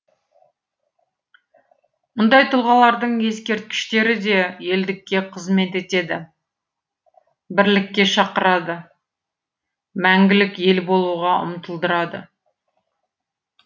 мұндай тұлғалардың ескерткіштері де елдікке қызмет етеді бірлікке шақырады мәңгілік ел болуға ұмтылдырады